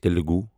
Telugu